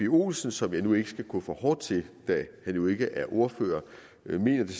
olsen som jeg nu ikke skal gå for hårdt til da han jo ikke er ordfører mener det